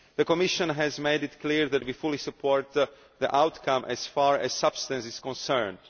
The Commission has made it clear that we fully support the outcome as far as the substance is concerned.